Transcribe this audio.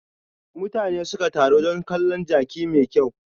Mutane suka taro don kalon jaki mai kyau.